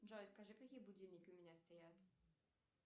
джой скажи какие будильники у меня стоят